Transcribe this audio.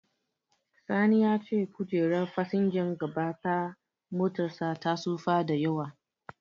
Sani ya ce kojerar fasinjan gaba ta motarsa ta tsufa da yawa.